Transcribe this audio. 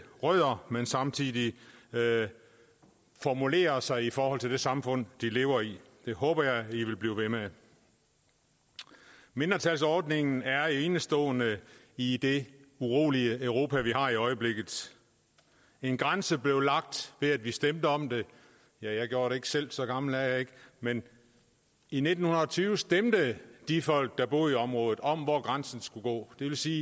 rødder men samtidig formulere sig i forhold til det samfund de lever i det håber jeg i vil blive ved med mindretalsordningen er enestående i det urolige europa vi har i øjeblikket en grænse blev lagt ved at vi stemte om det jeg gjorde det ikke selv så gammel er jeg ikke men i nitten tyve stemte de folk der boede i området om hvor grænsen skulle gå det vil sige